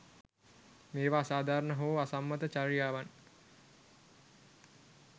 මේවා අසාධාරණ හෝ අසම්මත චර්යාවන්